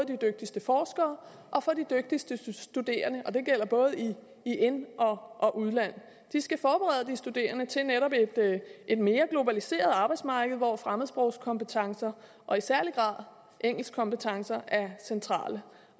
de dygtigste forskere og for de dygtigste studerende og det gælder både i ind og udland de skal forberede de studerende til netop et mere globaliseret arbejdsmarked hvor fremmedsprogskompetencer og i særlig grad engelskkompetencer er centrale